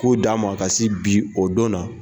K'o d'a ma ka se bi o don na